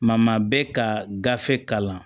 Ma maa bɛ ka gafe kalan